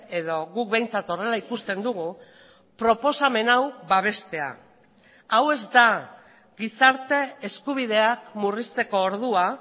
edo guk behintzat horrela ikusten dugu proposamen hau babestea hau ez da gizarte eskubideak murrizteko ordua